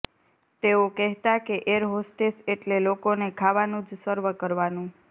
તેઓ કહેતા કે એર હોસ્ટેસ એટલે લોકોને ખાવાનું જ સર્વ કરવાનું